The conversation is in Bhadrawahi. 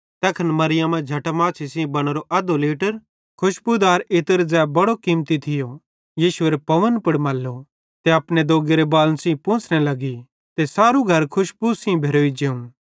तैखन मरियमा जटामासी सेइं बनोरो अध्धो लीटर खुशबुदार इत्र ज़ै बड़ो कीमती थियो यीशुएरे पावन मल्लो ते अपने दोग्गेरे बालन सेइं पोंछ़ने लगी ते सारू घर रोड़ी मुशकी सेइं भेरोई जेव